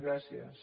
gràcies